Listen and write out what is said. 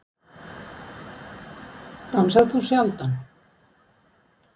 Dansar þú sjaldan?